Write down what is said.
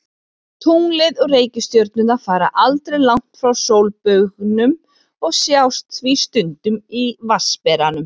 Tunglið og reikistjörnurnar fara aldrei langt frá sólbaugnum og sjást því stundum í Vatnsberanum.